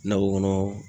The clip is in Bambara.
Nakɔ kɔnɔ